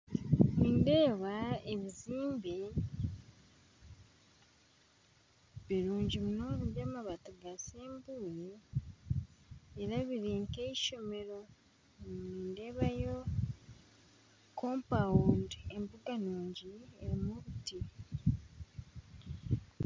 Nindeeba ebizimbe birungi munonga by'amabaati ga sembule niberebeka nka ishomero nindeebayo embuga nungi erimu obuti.